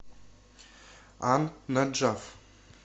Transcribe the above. ан наджаф